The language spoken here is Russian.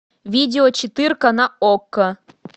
видео четырка на окко